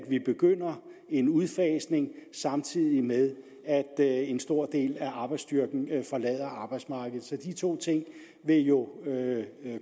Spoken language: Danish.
vi begynder en udfasning samtidig med at en stor del af arbejdsstyrken forlader arbejdsmarkedet så de to ting vil jo